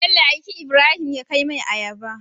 bello aiki ibrahim ya kaw mai ayaba